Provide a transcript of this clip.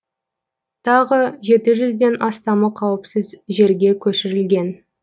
тағы жеті жүзден астамы қауіпсіз жерге көшірілген